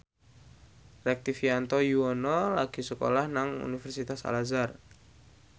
Rektivianto Yoewono lagi sekolah nang Universitas Al Azhar